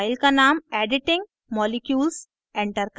file का name editing molecules editing molecules enter करें